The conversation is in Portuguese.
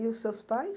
E os seus pais?